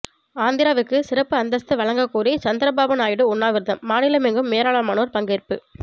ஆந்திராவுக்கு சிறப்பு அந்தஸ்து வழங்க கோரி சந்திரபாபு நாயுடு உண்ணாவிரதம் மாநிலமெங்கும் ஏராளமானோர் பங்கேற்பு